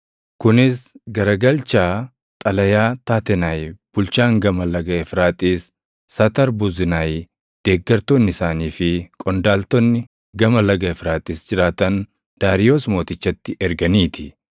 Kunis garagalchaa xalayaa Taatenaayi bulchaan Gama Laga Efraaxiis, Satarbuznaayi, deeggartoonni isaanii fi qondaaltonni Gama Laga Efraaxiis jiraatan Daariyoos Mootichatti erganii ti.